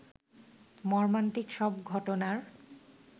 মর্মান্তিক সব ঘটনার